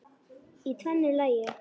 Í tvennu lagi.